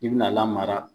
I bina lamara